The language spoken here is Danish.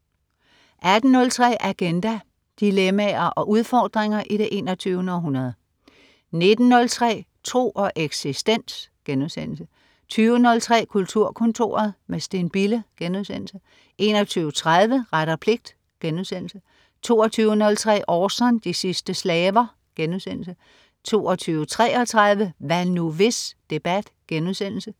18.03 Agenda. Dilemmaer og udfordringer i det 21. århundrede 19.03 Tro og eksistens* 20.03 Kulturkontoret. med Steen Bille* 21.30 Ret og pligt* 22.03 Orson. De sidste slaver* 22.33 Hvad nu, hvis? Debat*